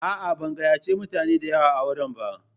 A'a, ban gayyace mutane da yawa auren ba.